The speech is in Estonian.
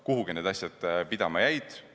Kuhugi need asjad pidama jäid.